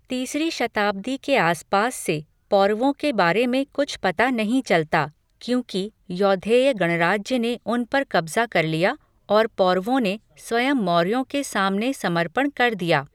तीसरी शताब्दी के आसपास से पौरवों के बारे में कुछ पता नहीं चलता क्योंकि यौधेय गणराज्य ने उन पर कब्ज़ा कर लिया और पौरवों ने स्वयं मौर्यों के सामने समर्पण कर दिया।